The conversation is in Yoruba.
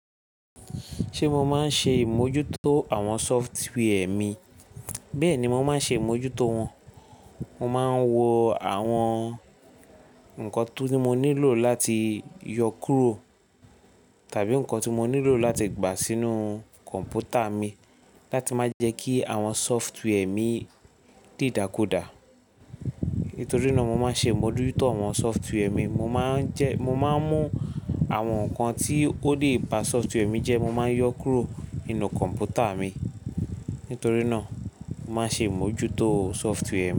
Ṣé mo máa ń ṣe ìmójútó àwọn sọ́fútíwẹ̀ mi? Bẹ́ẹ̀ni, mo máa ń ṣe ìmójútó wọn. Mo máa ń wo àwọn ǹkan tí mo nílò láti yọ kúrò tàbí ǹkan tí mo nílò láti gbà sínú kọ̀m̀pútà mi láti má jẹ́ kí àwọn sọ́fútíwẹ̀ mi di ìdàkudà. Nítorí náà mo máa ń ṣe ìmójútó àwọn sọ́fútíwẹ̀ mi. Mo máa ń jẹ́, mo máa ń mú àwọn ǹkan tí ó lè ba sọ́fútíwẹ̀ mi jẹ́, mo máa ń yọ kúrò nínú kọ̀m̀pútà mi. Nítorí náà mo máa ń ṣe ìmójútó sọ́fútíwẹ̀ mi.